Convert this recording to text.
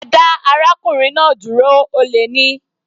Ẹ dá arákùnrin náà dúró, olè ni.